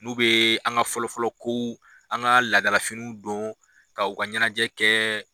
N'u be an ka fɔlɔ fɔlɔ kow , an ka ladalafiniw don ka u ka ɲɛnajɛ kɛ